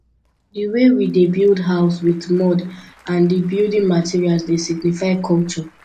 di way we dey build house with mud and di building materals dey signify culture